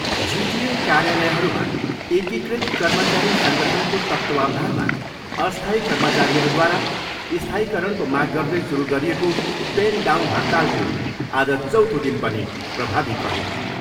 जिटिए कार्यालयहरूमा एकीकृत कर्मचारी सङ्गठनको तत्त्वावधानमा अस्थायी कर्मचारीहरूद्वारा स्थायीकरणको माग गर्दै सुरु गरिएको पेन डाउन हडतालको आज चौथो दिन पनि प्रभावित रह्यो।